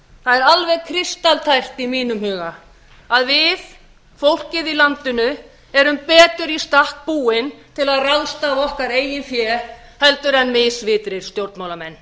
það er alveg kristaltært í mínum huga að við fólkið í landinu erum betur í stakk búin til að ráðstafa okkar eigin fé heldur en misvitrir stjórnmálamenn